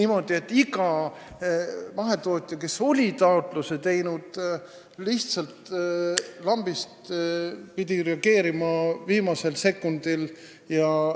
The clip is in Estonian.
Kõik mahetootjad, kes olid toetuse taotluse teinud, pidid lihtsalt lambist viimasel sekundil reageerima.